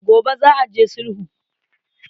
Gobe za a je sulhu.